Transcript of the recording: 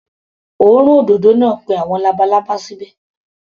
Òórùn òdòdó náà pé àwọn labalábá síbẹ̀.